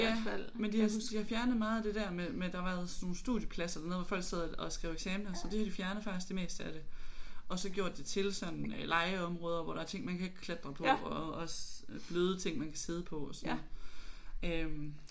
Ja men de har fjernet meget af det der med med der har været sådan nogle studiepladser dernede hvor folk sad og og skrev eksamener så det har de har fjernet faktisk det meste af det og så gjort det til sådan legeområder hvor der er ting man kan klatre på og også bløde ting man kan sidde på og sådan øh